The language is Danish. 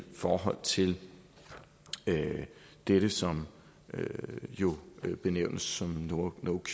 forhold til det som jo benævnes som no cure no